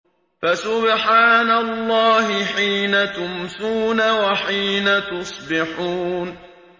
فَسُبْحَانَ اللَّهِ حِينَ تُمْسُونَ وَحِينَ تُصْبِحُونَ